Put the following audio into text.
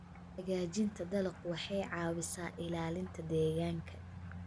Hagaajinta dalagga waxay caawisaa ilaalinta deegaanka.